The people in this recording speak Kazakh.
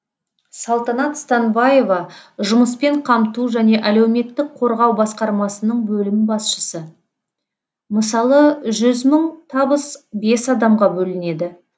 салтанат станбаева жұмыспен қамту және әлеуметтік қорғау басқармасының бөлім басшысы мысалы жүз мың табыс бес адамға бөлінеді